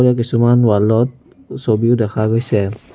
কিছুমান ৱাল ত ছবিও দেখা গৈছে।